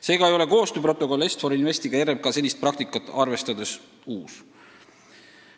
Seega ei ole koostööprotokoll Est-For Investiga RMK senist praktikat arvestades uus.